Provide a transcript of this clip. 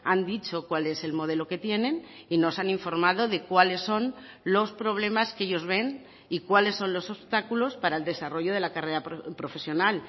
han dicho cuál es el modelo que tienen y nos han informado de cuáles son los problemas que ellos ven y cuáles son los obstáculos para el desarrollo de la carrera profesional